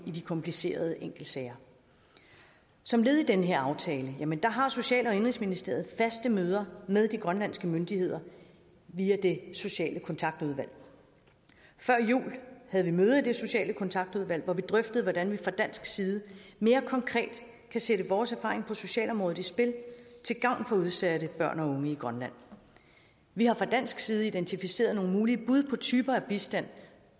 i de komplicerede enkeltsager som led i den her aftale har social og indenrigsministeriet faste møder med de grønlandske myndigheder via det sociale kontaktudvalg før jul havde vi møde i det sociale kontaktudvalg hvor vi drøftede hvordan vi fra dansk side mere konkret kan sætte vores erfaring på socialområdet i spil til gavn for udsatte børn og unge i grønland vi har fra dansk side identificeret nogle mulige bud på typer af bistand